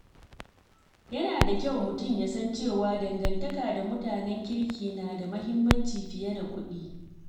Yana da kyau mutum ya san cewa dangantaka da mutanen kirki na da muhimmanci fiye da kuɗi.